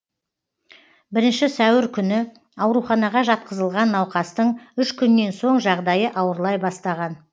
бірінші сәуір күні ауруханаға жатқызылған науқастың үш күннен соң жағдайы ауырлай бастаған